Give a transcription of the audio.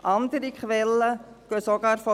Andere Quellen gehen sogar von